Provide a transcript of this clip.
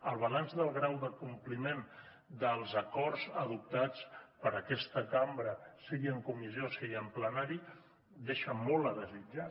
el balanç del grau d’acompliment dels acords adoptats per aquesta cambra sigui en comissió sigui en plenari deixa molt a desitjar